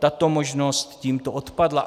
Tato možnost tímto odpadla.